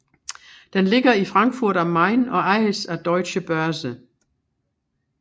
Den ligger i Frankfurt am Main og ejes af Deutsche Börse